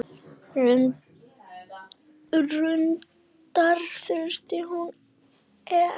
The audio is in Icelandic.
Reyndar furða hvað hún er.